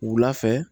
Wula fɛ